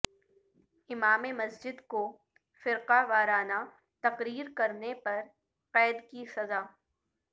امام مسجد کو فرقہ وارانہ تقریر کرنے پر قید کی سزا